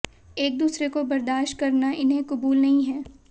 एक दूसरे को बर्दाश्त करना इन्हें कबूल नहीं है